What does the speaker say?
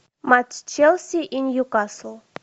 матч челси и ньюкасл